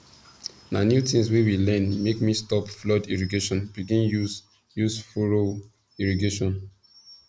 na new things wey we learn make me stop flood irrigation begin use use furrow irrigation